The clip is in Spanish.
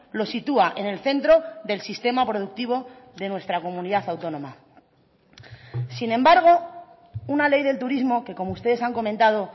lo sitúa en el centro del sistema productivo de nuestra comunidad autónoma sin embargo una ley del turismo que como ustedes han comentado